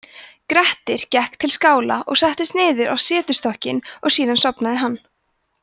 grettir gekk til skála og settist niður á setstokkinn og síðan sofnaði hann